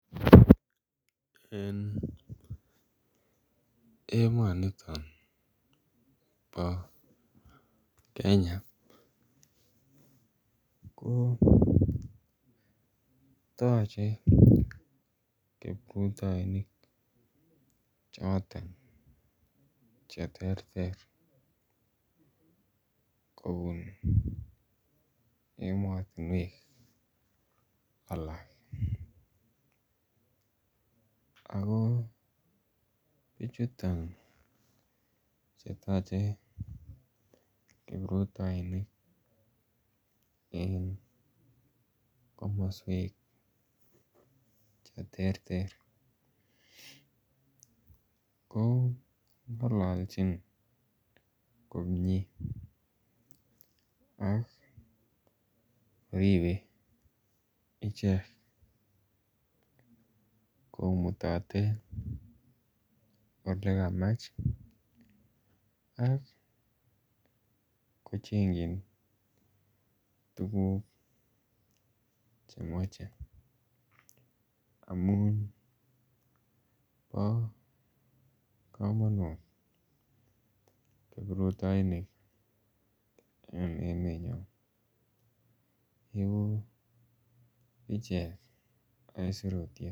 En emoniton bo Kenya ko toche kiprutoinik choton cheterter kobun emotinuek alaak, ako bichuton chetoche kiprutoinik en komoswek cheterter ko ng'ololchin komyee ak koribe ichek, komutote olekamach ak kochengkyin tuguk chemoche amun bo komonut kiprutoinik en emenyon, ibu ichek aisurutyet.